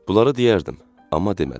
Bunları deyərdim, amma demədim.